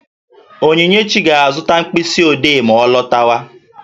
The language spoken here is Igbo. Onyinyechi ga-azụta mkpịsị odee ma ọ lọtawa